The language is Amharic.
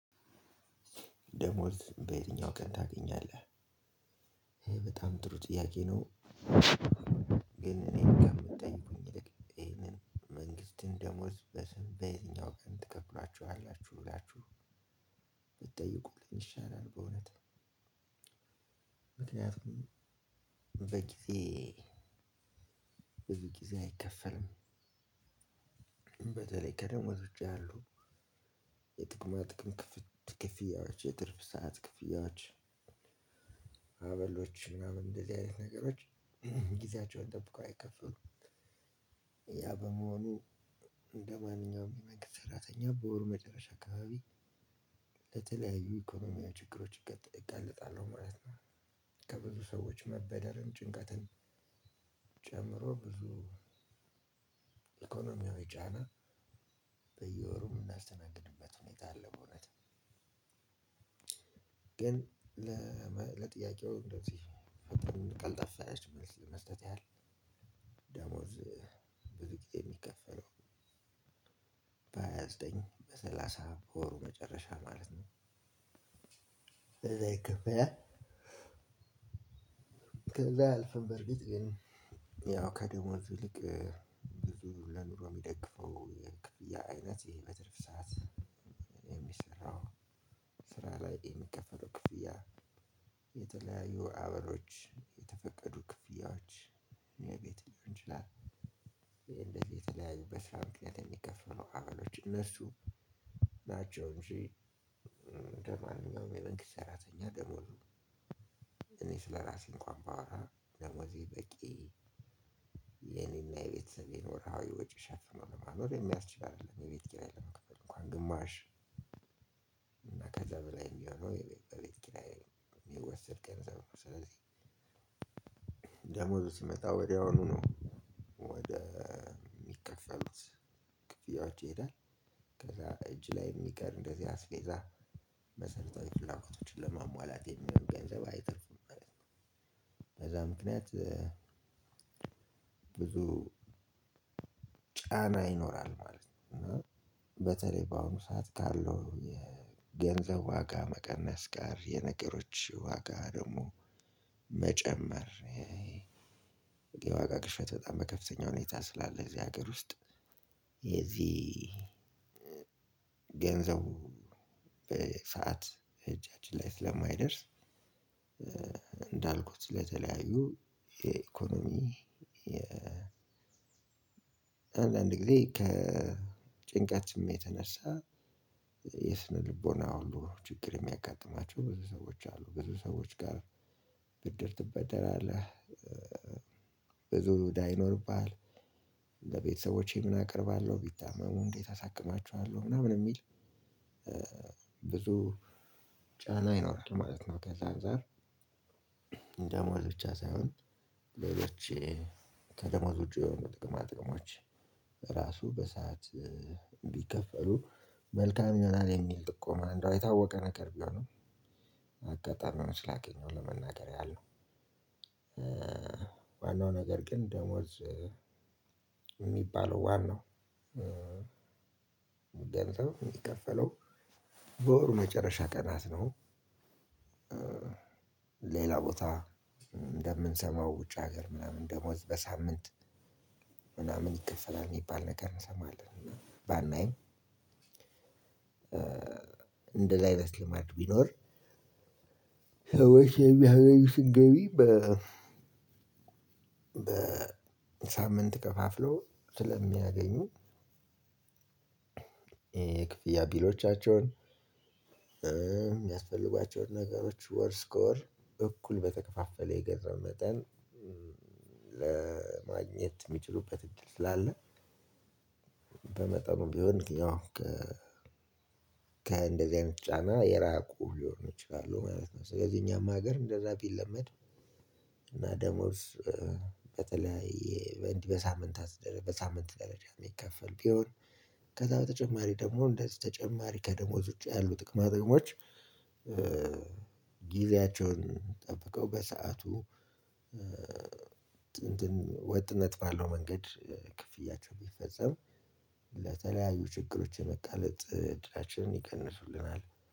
ደሞዝ በየትኛው ቀን ታገኛለህ? በጣም ጥሩ ጥያቄ ነው። እኔ ጋር የምጠይቁኝ ይልቅ ይሄንን መንግስትን ደሞዝ በስም በየትኛው ቀን ትከፍሏችኋላችሁ ብላችሁ። ብትጠይቁልኝ ይሻላል በእውነት። ምክንያቱም በጊዜ ብዙ ጊዜ አይከፈልም። በተለይ ከደሞዝ ውጪ ያሉ የጥቅማ ጥቅም ክፍት ክፍያዎች የትርፍ ሰዓት ክፍያዎች። አበሎች ምናምን እንደዚህ አይነት ነገሮች ጊዜያቸውን ጠብቀው አይከፍሉም። ያ በመሆኑ እንደማንኛውም የመንግስት ሰራተኛ በወሩ መጨረሻ አካባቢ ለተለያዩ ኢኮኖሚያዊ ችግሮች እጋለጣለሁ ማለት ነው። ከብዙ ሰዎች መበደርም ጭንቀትም ጨምሮ ብዙ እኮኖማዊ ጫና በየወሩ የምናስተናግድበት ሁኔታ አለ። በእውነት ግን ለጥያቄው እንደው ቀልጠፋ ያለች መልስ መስጠት ያህል ደሞዝ ብዙ ግዜ የሚከፈለው። በሃያ ዘጠኝ በሰላሳ በወሩ መጨረሻ ማለት ነው። ከዛ አልፈን በርግጥ ግን ያው ከደሞዝ ይልቅ ብዙ ለኑሮ የሚደግፈው የቅድያ አይነት ይሄ በትርፍ ሰዓት የሚሰራው። ስራ ላይ የሚከፈሉ ክፍያ የተለያዩ አበሎች የተፈቀዱ ክፍያዎች እንደዚህ የተለያዩ በስራ ምክንያት የሚከፈሉ አባሎች እነሱ ናቸው። እንጂ እንደማንኛውም የመንግስት ሰራተኛ ደሞዙ እኔ ስለራሴ እንኳን ባወራ ደሞዜ በቂ የኔና የቤተሰብ ወችሃዊ ወጪ ሸፍኖ ለማኖር የሚያስችል አይደለም። የቤት ኪራይ ለመክፈል እንኳን ግማሽ እና ከዛ በላይ የሚሆነው በቤት ኪራዬ ሚወሰድ ገንዘብ ነው። ስለዚህ ደሞዙ ሲመጣ ወዲያውኑ ነው ወደ ሚከፈሉት ክፍያዎች ይሄዳል ከዛ እጅ ላይ ሚቀር እንደዚህ አስፌዛ መሰረታዊ ፍላጎቶችን ለማሟላት የሚሆን ገንዘብ አይተርፍም ማለት ነው። በዛ ምክንያት ብዙ ጫና ይኖራል ማለት ነው። በተለይ በአሁኑ ሰዓት ካለው የገንዘብ ዋጋ መቀነስ ጋር የነገሮች ዋጋ ደሞ መጨመር ክሽት በጣም በከፍተኛ ሁኔታ ስላለ እዚህ ሀገር ውስጥ የዚህ ገንዘቡ በሰአት እጃችን ላይ ስለማይደርስ። ለተለያዩ የኢኮኖሚ አንዳንድ ጊዜ ከጭንቀት ስሜት ተነሳ የስነ ልቦና ሁሉ ችግር የሚያጋጥማቸው ብዙ ሰዎች አሉ። ብዙ ሰዎች ጋር ብድር ትበደራለህ። ብዙ እዳ ይኖርብሃል። ለቤተሰቦቼ ምን አቀርባለሁ ቢታመሙ እንዴት አሳክማችኋለሁ ምናምን የሚል ብዙ ጫና ይኖራል ማለት ነው። ከዛ አንፃር ብቻ ሳይሆን ሌሎች ከደሞዝ ውጪ የሆኑ ጥቅማ ጥቅሞች በሰአት ቢከፈሉ መልካም ይሆናል። የሚል ጥቆማ እንደው የታወቀ ነገር ቢሆንም አጋጣሚውን ስላገኘው ለመናገር ያህል ነው። ዋነው ነገር ግን ደሞዝ የሚባለው ዋናው ገንዘብ የሚከፈለው በወሩ መጨረሻ ቀናት ነው። ሌላ ቦታ እንደምንሰማው ውጭ ሀገር ምናምን ደሞዝ በሳምንት ምናምን ይከፈላል የሚባል ነገር እንሰማለን ባናይም። እንደላይመስልም አድብቆ ቢኖር ሰዎች ያገኙትን ገቢ በ በሳምንት ከፋፍሎ ስለሚያገኙ። የክፍያ ቢሎቻቸውን የሚያስፈልጓቸውን ነገሮች ወር ስኮር እኩል በተከፋፈለ የገንዘብ መጠን ለማግኘት የሚችሉበት እድል ትላለህ። በመጠኑ ቢሆን ከእንደዚህ አይነት ጫና የራቁ ሊሆን ይችላል ማለት ነው። ስለዚህ እኛም ሀገር እንደዛ ቢለመድ እና ደሞዝ በተለያየ በሳምንት በሳምንት ደረጃ የሚከፈል ቢሆን ከዛ በተጨማሪ ደግሞ እንደዚህ ተጨማሪ ከደሞዝ ውጪ ያሉ ጥቅማቸውን ጊዜያቸውን ጠብቀው በሰአቱ ወጥነት ባለው መንገድ ክፍያቸው ቢፈጸም ለተለያዩ ችግሮች የመጋለጥ እድላችንን ይቀንሱልናል።